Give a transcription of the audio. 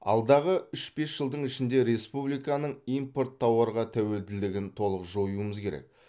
алдағы үш бес жылдың ішінде республиканың импорт тауарға тәуелділігін толық жоюымыз керек